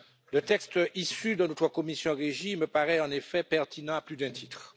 Le texte issu de notre commission REGI me paraît en effet pertinent à plus d'un titre.